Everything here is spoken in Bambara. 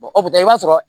o tɛ i b'a sɔrɔ